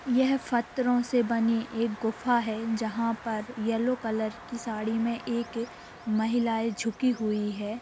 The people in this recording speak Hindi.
यह फत्थरो से बनी एक गुफा है जहाँ पर यलो कलर की सारी मे एक महिलाए झुकी हुई है।